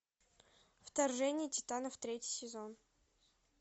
вторжение титанов третий сезон